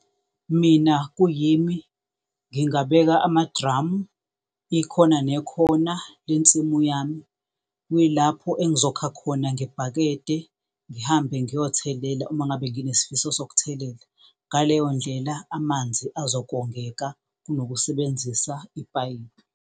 Mina kuyimi ngingabeka amadramu ikhona nekhona lensimu yami kuyilapho engizokha khona ngebhakede ngihambe ngiyothelela uma ngabe nginesifiso sokuthelela, ngaleyo ndlela amanzi azokongeka kunokusebenzisa ipayipi.